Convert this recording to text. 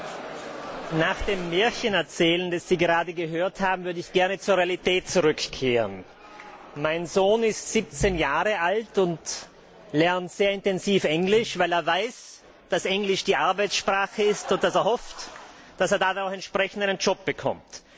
Herr Präsident! Nach dem Märchenerzählen, das Sie gerade gehört haben, würde ich gerne zur Realität zurückkehren. Mein Sohn ist siebzehn Jahre alt und lernt sehr intensiv Englisch, weil er weiß, dass Englisch die Arbeitsprache ist, und er hofft, dass er dadurch einen entsprechenden Job bekommt.